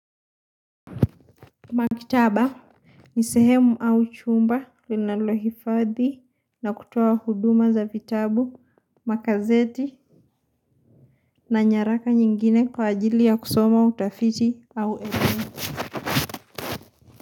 Makitaba, nisehemu au chumba, linalohifadhi na kutuwa huduma za vitabu, makazeti na nyaraka nyingine kwa ajili ya kusoma utafiti au elena.